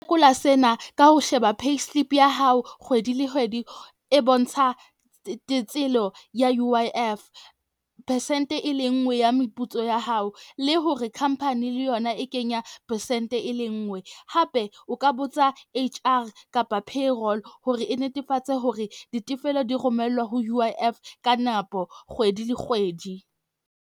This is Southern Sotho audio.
sena ka ho sheba payslip ya hao kgwedi le kgwedi, e bontsha tselo ya U_I_F. Percent e le nngwe ya meputso ya hao, le hore company le yona e kenya percent e le nngwe. Hape o ka botsa H R kapa payroll hore e netefatse hore ditefello di romellwa ho U_I_F ka nako kgwedi le kgwedi.